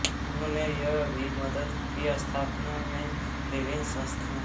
उन्होंने यह भी मदद की स्थापना में विभिन्न संस्थाओं